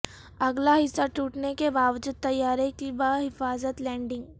اگلا حصہ ٹوٹنے کے باوجود طیارے کی بحفاظت لینڈنگ